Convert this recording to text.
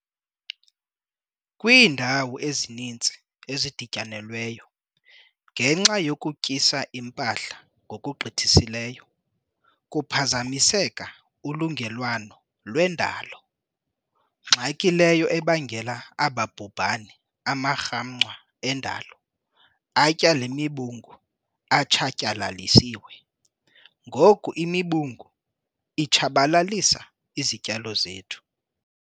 Kwiindawo ezininzi ezidityanelweyo, ngenxa yokutyisa impahla ngokugqithisileyo, kuphazamiseka ulungelelwano lwendalo ngxaki leyo ebangela aba bhubhane - amarhamncwa endalo atya le mibungu atshatyalalisiwe, ngoku imibungu itshabalalisa izityalo zethu.